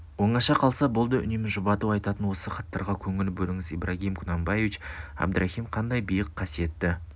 оңаша қалса болды үнемі жұбату айтатын осы хаттарға көңіл бөліңіз ибрагим кунанбаич абдрахим қандай биік қасиетті